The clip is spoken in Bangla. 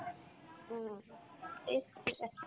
হুম